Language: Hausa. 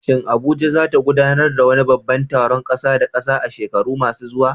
Shin Abuja za ta gudanar da wani babban taron ƙasa da ƙasa a shekaru masu zuwa?